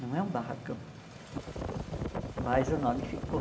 Não é um barracão, mas o nome ficou.